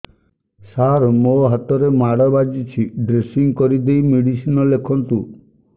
ସାର ମୋ ହାତରେ ମାଡ଼ ବାଜିଛି ଡ୍ରେସିଂ କରିଦେଇ ମେଡିସିନ ଲେଖନ୍ତୁ